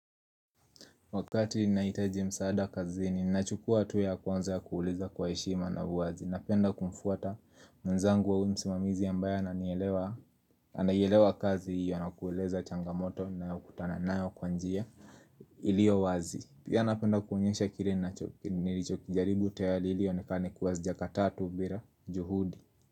Wakati nahitaji msaada kazini nachukua tu ya kwanza ya kuuliza kwa heshima na uwazi. Napenda kumfuata mwezangu au msimamizi ambaye ananielewa, anaielewa kazi hiyo na kueleza changamoto ninayo kutana nayo kwa njia, iliyo wazi. Pia napenda kuonyesha kile nilichokijaribu tayari ili ionekane kuwa hazijakataa tu bila juhudi.